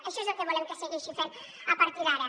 això és el que volem que segueixi fent a partir d’ara